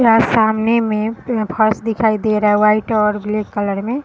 यहाँ सामने में फर्श दिखाई दे रहा है व्हाइट और ब्लैक कलर में।